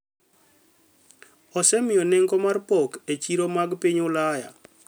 osemiyo nengo mar pok e chiro mag piny Ulaya